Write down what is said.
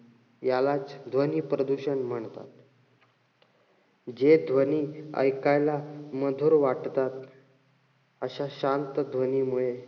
यालाच ध्वनी प्रदूषण म्हणतात. जे ध्वनी ऐकायला मधुर वाटतात अशा शांत ध्वनीमुळे,